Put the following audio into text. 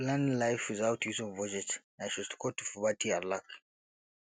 planning life without using budget na shortcut to poverty and lack